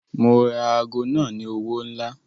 Mo ra aago náà fún owó ńlá.